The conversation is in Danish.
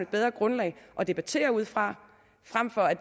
bedre grundlag at debattere ud fra